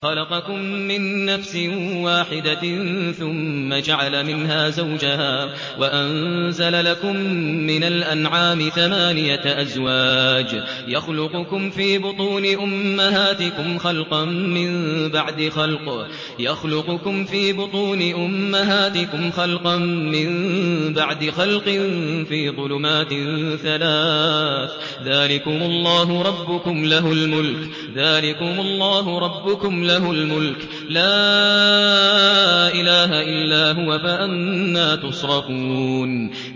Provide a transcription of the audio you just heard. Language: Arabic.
خَلَقَكُم مِّن نَّفْسٍ وَاحِدَةٍ ثُمَّ جَعَلَ مِنْهَا زَوْجَهَا وَأَنزَلَ لَكُم مِّنَ الْأَنْعَامِ ثَمَانِيَةَ أَزْوَاجٍ ۚ يَخْلُقُكُمْ فِي بُطُونِ أُمَّهَاتِكُمْ خَلْقًا مِّن بَعْدِ خَلْقٍ فِي ظُلُمَاتٍ ثَلَاثٍ ۚ ذَٰلِكُمُ اللَّهُ رَبُّكُمْ لَهُ الْمُلْكُ ۖ لَا إِلَٰهَ إِلَّا هُوَ ۖ فَأَنَّىٰ تُصْرَفُونَ